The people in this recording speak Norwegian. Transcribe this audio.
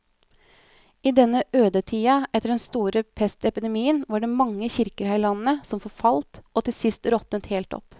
I denne ødetida etter den store pestepidemien var det mange kirker her i landet som forfalt og til sist råtnet helt opp.